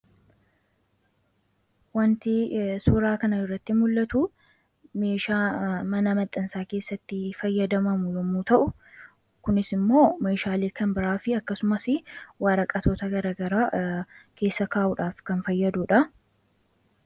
Waanti suuraa kana irratti mul'atuu, meeshaa mana maxxansaa keessatti fayyadamamu yemmuu ta'u, kunis immoo Meeshaalee kan biraa fi akkasumas waraqatoota garaagaraa keessa kaawuudhaaf kan fayyadudha.